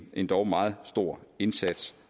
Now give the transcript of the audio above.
endog meget stor indsats